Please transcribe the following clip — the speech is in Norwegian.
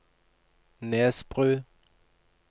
Nesbru